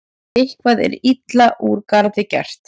Eitthvað er illa úr garði gert